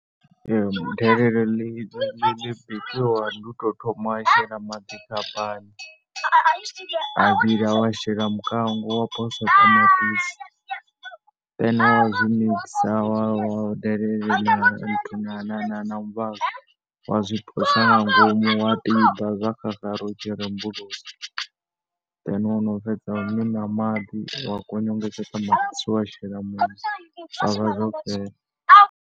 Delele ḽi ḽi ḽi tshi bikiwa ndi u tou thoma wa shela maḓi kha pani, a vhila wa shela mukango, wa posa ṱamaṱisi then wa zwi mixer wa, wa delele na muvhazwi, wa zwi posa nga ngomu wa bika, zwo tshi xaxara u tshi rembulusa, then wo no fheza wa miṋa maḓi, wa kongonyedza ṱamaṱisi wa shela muṋo. Zwa vha zwo fhela.